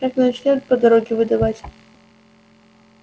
как начнёт по дороге выдавать